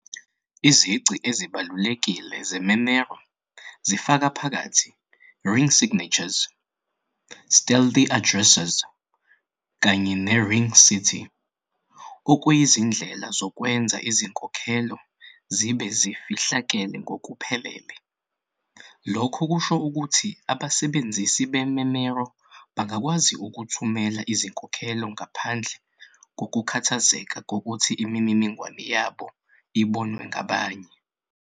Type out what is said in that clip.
Izici ezibalulekile ze-Monero zifaka phakathi "ring signatures", "stealth addresses", kanye ne-"RingCT", okuyizindlela zokwenza izinkokhelo zibe zifihlakele ngokuphelele. Lokhu kusho ukuthi abasebenzisi be-Monero bangakwazi ukuthumela izinkokhelo ngaphandle kokukhathazeka ngokuthi imininingwane yabo ibonwa ngabanye.